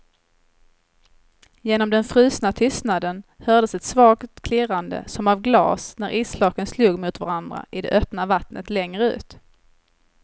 Genom den frusna tystnaden hördes ett svagt klirrande som av glas när isflaken slog mot varandra i det öppna vattnet längre ut.